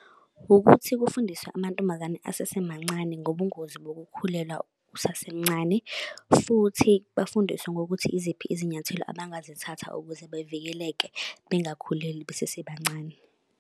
Ukuthi kufundiswe amantombazane asesemancane ngobungozi bokukhulelwa usasemncane, futhi bafundiswe ngokuthi iziphi izinyathelo abangazithatha ukuze bevikeleke bengakhuleli besesebancane.